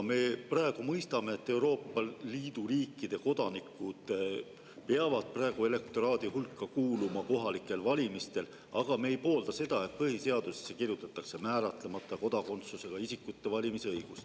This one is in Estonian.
Me praegu mõistame, et Euroopa Liidu riikide kodanikud peavad praegu elektoraadi hulka kuuluma kohalikel valimistel, aga me ei poolda seda, et põhiseadusesse kirjutatakse määratlemata kodakondsusega isikute valimisõigus.